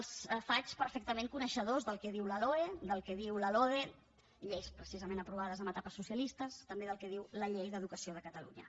els faig perfectament coneixedors del que diu la loe del que diu la lode lleis precisament aprovades en etapes socialistes també del que diu la llei d’educació de catalunya